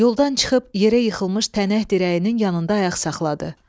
Yoldan çıxıb yerə yıxılmış tənək dirəyinin yanında ayaq saxladı.